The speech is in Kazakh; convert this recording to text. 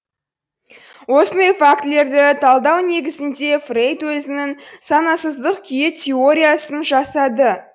осындай фактілерді талдау негізінде фрейд өзінің санасыздық күйі теориясын жасады